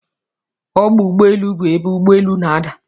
Ọgbọ ụgbọelu bụ ebe ụgbọ elu n'ada.